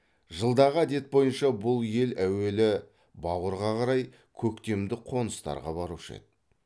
жылдағы әдет бойынша бұл ел әуелі бауырға қарай көктемдік қоныстарға барушы еді